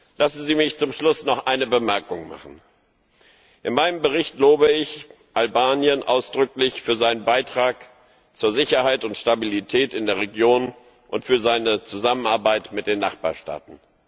Lassen Sie mich zum Schluss noch eine Bemerkung machen In meinem Bericht lobe ich Albanien ausdrücklich für seinen Beitrag zur Sicherheit und Stabilität in der Region und für seine Zusammenarbeit mit den Nachbarstaaten.